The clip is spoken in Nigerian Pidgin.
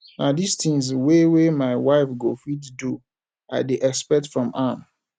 na di tins wey wey my wife go fit do i dey expect from am